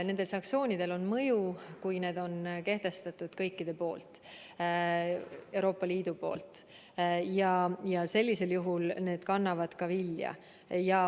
Sanktsioonidel on mõju, kui need on kehtestatud kõikide poolt, Euroopa Liidu poolt, ja sellisel juhul need kannavad ka vilja.